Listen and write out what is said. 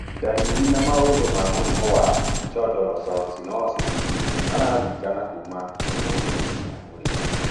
Ndariri na maũthĩ ma mũrimũ wa Chondrocalcinosis 2 maringanaga kuma mũndũ nginya ũria ũngĩ